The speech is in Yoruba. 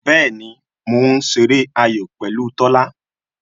Bẹẹni, mo ń ṣeré ayò pẹ̀lú Tola